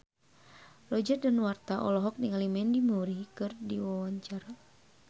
Roger Danuarta olohok ningali Mandy Moore keur diwawancara